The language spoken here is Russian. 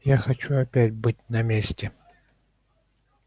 я хочу опять быть на месте